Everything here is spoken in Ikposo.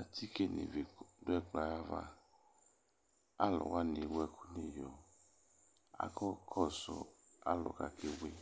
Atike nʋ ivi dʋ ɛkplɔ yɛ ava Alʋ wanɩ ewu ɛkʋ nʋ iyo akakɔsʋ alʋ wa kebui